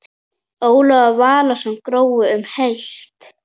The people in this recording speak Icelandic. Ólafur Valsson: Grói um heilt?